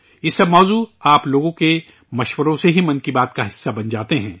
یہ تمام موضوعات آپ لوگوں کے مشوروں سے ہی 'من کی بات' کا حصہ بن جاتے ہیں